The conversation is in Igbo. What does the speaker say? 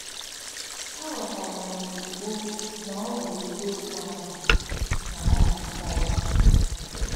A ghọtara m ozugbo na ọ bụ eziokwu ahụ, ” ka ọ na - akọwa.